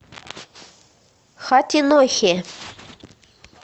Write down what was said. хатинохе